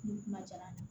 N'u kuma jala